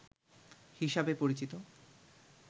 হিসাবে পরিচিত